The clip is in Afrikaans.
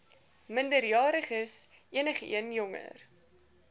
minderjariges enigeen jonger